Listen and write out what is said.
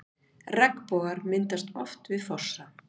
Regnbogar myndast oft við fossa.